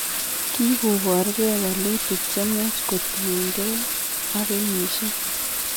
Kigobor gee walutik chemnyach kotien gee ak kenyisiek